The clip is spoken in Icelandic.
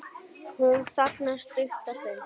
Hún þagnar stutta stund.